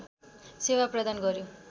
सेवा प्रदान गर्‍यो